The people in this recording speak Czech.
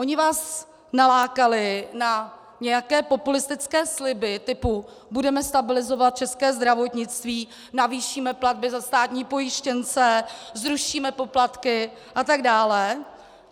Oni vás nalákali na nějaké populistické sliby typu: Budeme stabilizovat české zdravotnictví, navýšíme platby za státní pojištěnce, zrušíme poplatky atd.